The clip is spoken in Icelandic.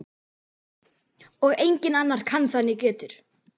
Og enginn annar kann það né getur.